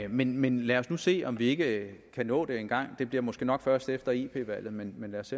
men men lad os nu se om vi ikke kan nå det engang det bliver måske nok først efter ep valget men men lad os